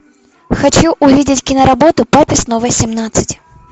хочу увидеть киноработу папе снова семнадцать